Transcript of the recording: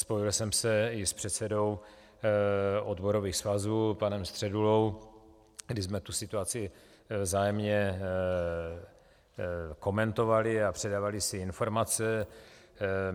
Spojil jsem se i s předsedou odborových svazů panem Středulou, kdy jsme tu situaci vzájemně komentovali a předávali si informace.